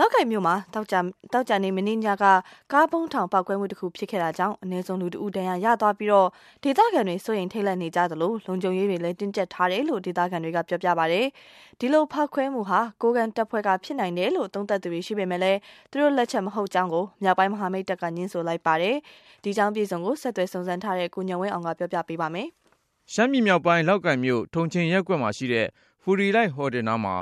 လောက်ကိုင်မြို့မှာ သောကြာ မနေ့ညက ကားဗုံးထောင် ပေါက်ကွဲမှုတခုဖြစ်ခဲ့ တာကြောင့် အနည်းဆုံးလူ ၁ ဦး ဒဏ်ရာရသွားပြီး ဒေသခံတွေ စိုးရိမ်ထိန့်လန့်နေ ကြသလို၊ လုံခြုံရေးတွေ တင်းကြပ်ထားတယ်လို့ ဒေသခံတွေက ပြောပါတယ်။ ဒီလိုဖေါက်ခွဲမှုဟာ ကိုးကန့်တပ်ဖွဲ့က ဖြစ်နိုင် တယ်လို့ သုံးသပ်သူတွေရှိပေမယ့် သူတို့လက်ချက်မဟုတ်ကြောင်း မြောက်ပိုင်း မဟာမိတ်တပ်က ငြင်းဆိုပါတယ်။ ဆက်သွယ်စုံစမ်းထားတဲ့ ကိုဉာဏ်ဝင်းအောင်က တင်ပြပါမယ်။ ရှမ်းပြည်မြောက်ပိုင်း လောက်ကိုင်မြို့ တုံချိန်ရပ်ကွက်မှာရှိတဲ့ ဖူရီလိုက် ဟိုတယ်နား မှာ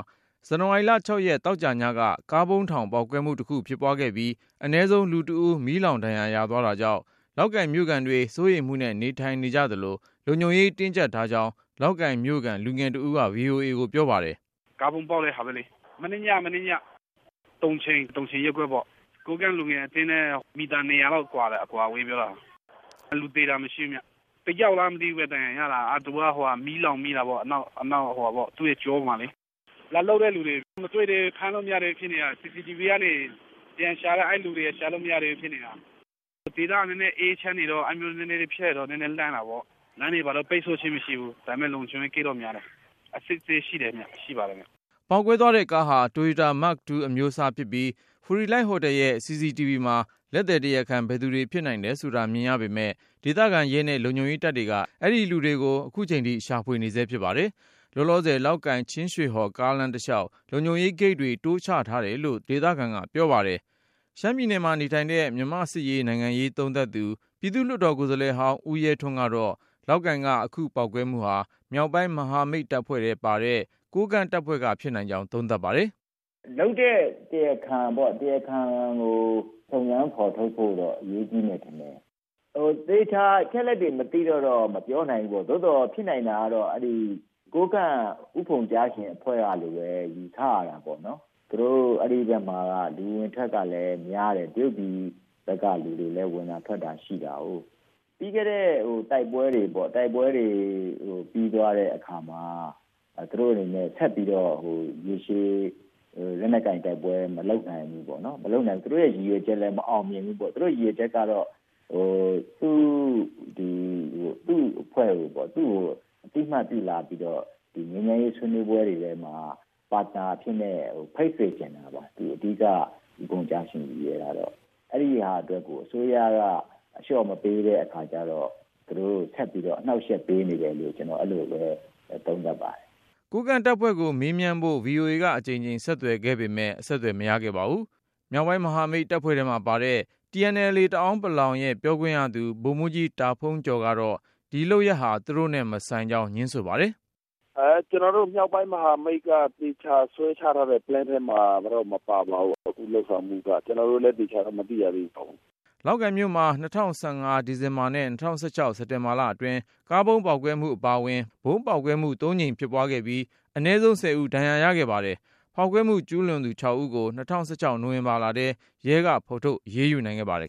ဇန္နဝါရီ ၆ ရက် သောကြာညက ကားဗုံးထောင်ပေါက် ကွဲမှု တခုဖြစ်ခဲ့ပြီး အနည်းဆုံးလူ ၁ ဦး မီးလောင်ဒဏ်ရာရသွားတာကြောင့် လောက်ကိုင်မြို့ခံတွေ စိုးရိမ်မှုနဲ့ နေထိုင်နေကြသလို၊ လုံခြုံရေး တင်းကြပ်ထားကြောင်း လောက်ကိုင်မြို့ခံ လူငယ်တဦးက VOA ကိုပြောပါတယ်။ “ ကားဗုံးပေါက်တာ.. မနေ့ညက၊ တုံချိန်ရပ်ကွက်ပေါ့။ ကိုးကန့်လူငယ်အသင်းနဲ့ မီတာ ၂၀၀ လောက်ပဲဝေးတာ။ လူသေတာ မရှိဘူးခင်ဗျ။ ၁ ယောက်လား ဒဏ်ရာ ရတာ သူ့ရဲ့ကျောမှာ မီးလောင်သွားတာပါ။ လာလုပ်သွားတဲ့လူတွေကို ဖမ်းလို့ မမိသေးဘူး။ CCTV ကနေ ပြန်ရှာနေတာ အဲဒီလူတွေကို ရှာမတွေ့သေးဘူး ဖြစ်နေ တာ။ ဒေသက နည်းနည်းအေးချမ်းနေတော့ အဲလိုမျိုးဖြစ်လိုက်တော့ နည်းနည်း လန့်တာပေါ့။ လမ်း ပိတ်ဆို့ခြင်း မရှိပေမယ့် လုံခြုံရေးဂိတ်တော့များတယ် အစစ်ဆေးတွေရှိတယ် ” ပေါက်ကွဲသွားတဲ့ကားဟာ Toyota Mark 2 အမျိုးအစားဖြစ်ပြီး ဖူရီလိုက်ဟိုတယ်ရဲ့ CCTV မှာ လက်သည်တရားခံ ဘယ်သူတွေ ဖြစ်နိုင်တယ် ဆိုတာမြင်ရပေမယ့် ဒေသခံရဲနဲ့လုံခြုံရေးတပ်က အဲဒီလူတွေကို ခုချိန်ထိရှာဖွေနေဆဲဖြစ်ပါတယ်။ လောလောဆယ် လောက်ကိုင် ချင်းရွှေဟော် ကားလမ်းတလျှောက် လုံခြုံရေးဂိတ်တွေ တိုးချထားတယ်လို့ ဒေသခံကပြောပါတယ်။ ရှမ်းပြည်နယ်မှာနေထိုင်တဲ့ မြန်မာ့စစ်ရေး နိုင်ငံရေး သုံးသပ်သူ ပြည်သူ့လွှတ်တော် ကိုယ်စားလှယ်ဟောင်း ဦးရဲထွန်းကတော့ လောက်ကိုင်က အခုပေါက်ကွဲ မှုဟာ မြောက်ပိုင်း မဟာမိတ်အဖွဲ့ထဲ ပါတဲ့ ကိုးကန့်တပ်ဖွဲ့က ဖြစ်နိုင်ကြောင်း သုံးသပ်ပါတယ်။ “ လုပ်တဲ့ တရားခံကို စုံစမ်းဖေါ်ထုတ်ဖို့ အရေးကြီးပါတယ်။ သေချာအချက် အလက်တွေ မသိတော့ မပြောနိုင်ဘူးပေါ့၊ သို့သော် ဖြစ်နိုင်တာက ကိုးကန့် ဦးဖုံကျားရှင် အဖွဲ့ကလို့ပဲ ယူဆရတာပေါ့။ အဲဒီဖက်မှာက လူအဝင်အထွက်ကလည်း များတယ်။ တရုတ်ပြည်ဖက်က လူအဝင် အထွက်တွေလည်း ရှိတာကိုး။ ပြီးခဲ့တဲ့ တိုက်ပွဲတွေ ပြီးသွားတဲ့အခါမှာ သူတို့အနေနဲ့ ရေရှည်တိုက်ပွဲ ဆက်ပြီး မလုပ်နိုင် ဘူးပေါ့၊ သူတို့ရဲ့ ရည်ရွယ်ချက်လည်း မအောင်မြင်ဘူးပေါ့။ သူ့တို့ရည်ရွယ်ချက်က သူ့အဖွဲ့ကို အသိမှတ်ပြုလာပြီးတော့ ဒီငြိမ်းချမ်းရေးဆွေးနွေး ပွဲတွေထဲမှာ partner အဖြစ်နဲ့ ဖိတ်စေချင်တာပါ။ ဦးဖုံကျားရှင် အဓိက ရည်ရွယ်တာက၊ အဲဒီဟာ အတွက် ကို အစိုးရက အလျှော့မပေးတဲ့ အခါကျတော့ သူတို့ အနှောက်အယှက်ပေးနေ တယ်လို့ ကျနော် အဲဒီလိုပဲ သုံးသပ်ပါတယ် ” ကိုးကန့်တပ်ဖွဲ့ကို မေးမြန်းဖို့ VOA ကအကြိမ်ကြိမ်ဆက်သွယ်ခဲ့ပေမယ့် မရခဲ့ ပါဘူး။ မြောက်ပိုင်း မဟာမိတ်တပ်ဖွဲ့ထဲမှာပါတဲ့ TNLA တအာင်း ပလောင်တပ် ရဲ့ပြောခွင့်ရသူ ဗိုလ်မှူးကြီး တာဖုန်းကျော်ကတော့ ဒီလုပ်ရပ်ဟာ သူတို့နဲ့ မဆိုင်ကြောင်း ငြင်းဆိုပါတယ်။ “ ကျနော်တို့ မြောက်ပိုင်း မဟာမိတ်က သေချာဆွဲထားတဲ့ plan ထဲမှာတော့ အခုလုပ်ဆောင်မှုမျိုး မပါပါဘူး.. ကျနော်တို့လည်း သေချာတော့ မသိရသေးပါဘူး ” လောက်ကိုင်မြို့မှာ ၂၀၁၅ ဒီဇင်ဘာနဲ့ ၂၀၁၆ စက်တင်ဘာလအတွင်း ကားဗုံးပေါက် ကွဲမှု အပါအဝင် ဗုံးပေါက်ကွဲမှု ၃ ကြိမ်ဖြစ်ခဲ့ပြီး အနည်းဆုံး ၁၀ ဦး ဒဏ်ရာရခဲ့ ပါတယ်။ ဖောက်ခွဲမှုကျူးလွန်သူ ၆ ဦးကို ၂၀၁၆ နိုဝင်ဘာလထဲ ရဲကဖေါ်ထုတ် အရေးယူနိုင်ခဲ့ပါတယ်